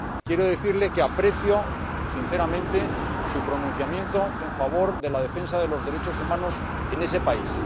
Quiero decirle que aprecio sinceramente su pronunciamiento en favor de la defensa de los derechos humanos en ese país.